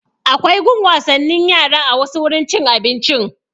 Akwai gun wasannin yara a wasu wurin cin abinci